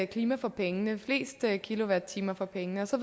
klima for pengene flest kilowatt timer for pengene og så